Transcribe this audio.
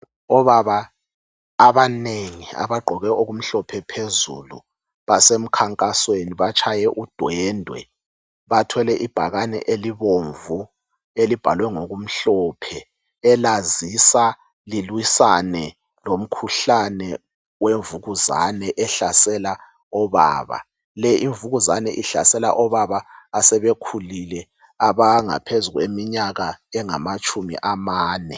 Obaba abanengi abagqoke okumhlophe phezulu basemkhankasweni batshaye udwendwe bathwele ibhakane elibomvu elibhalwe ngokumhlophe elazisa lilwisane lomkhuhlane wemvukuzane ehlasela obaba. Le imvukuzane ihlasela obaba asebekhulile abaleminyaka engaphezu kweminyaka engamatshumi amane.